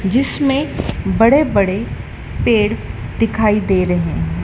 जिसमें बड़े बड़े पेड़ दिखाई दे रहे हैं।